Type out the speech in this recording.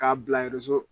K'a bila